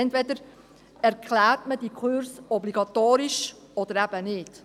Entweder erklärt man diese Kurse für obligatorisch oder eben nicht.